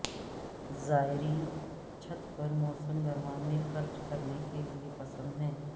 زائرین چھت پر موسم گرما میں خرچ کرنے کے لئے پسند ہے